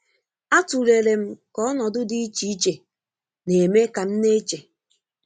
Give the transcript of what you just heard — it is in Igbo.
A tulere m ka ọnọdụ di iche iche n'eme kam na-eche.